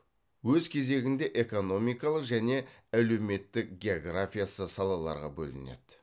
өз кезегінде экономикалық және әлеуметтік географиясы салаларға бөлінеді